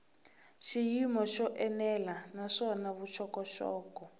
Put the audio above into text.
xiyimo xo enela naswona vuxokoxoko